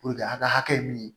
a ka hakɛ min ye